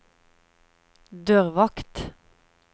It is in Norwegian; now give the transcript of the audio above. dørvakt